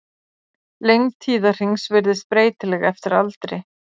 Lengd tíðahrings virðist breytileg eftir aldri.